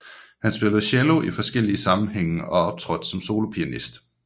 Han spillede cello i forskellige sammenhænge og optrådte som solopianist